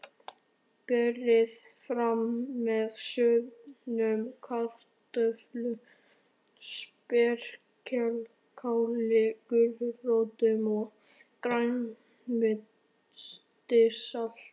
Berið fram með soðnum kartöflum, spergilkáli, gulrótum og grænmetissalati.